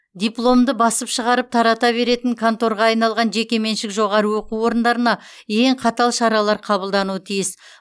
дипломды басып шығарып тарата беретін конторға айналған жекеменшік жоғары оқу орындарына ең қатал шаралар қабылдануы тиіс